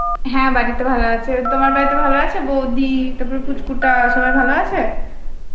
হ্যাঁ বাড়ির তো ভালো আছে তোমার বাড়িতে ভালো আছে বৌদি তারপর পুচকু টা সবাই ভালো আছে ?